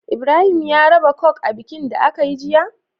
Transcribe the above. Ibrahim ya raba coke a bikin da akayi jiya?